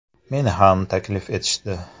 Meni ham taklif etishdi.